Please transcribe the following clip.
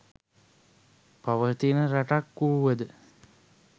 පවතින රටක් වූවද